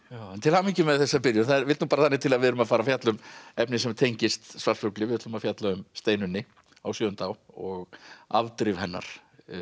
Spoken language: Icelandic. til hamingju með þessa byrjun það vill nú þannig til að við erum að fara að fjalla um efni sem tengist svartfugli við ætlum að fjalla um Steinunni á og afdrif hennar